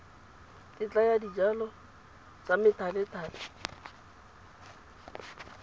tetla ya dijalo tsa methalethale